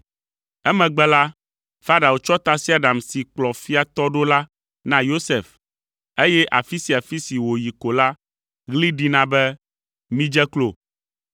Emegbe la, Farao tsɔ tasiaɖam si kplɔ fia tɔ ɖo la na Yosef, eye afi sia afi si wòyi ko la, ɣli ɖina be, “Midze klo!”